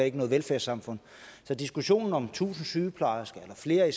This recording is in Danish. ikke noget velfærdssamfund så diskussionen om tusind sygeplejersker eller flere i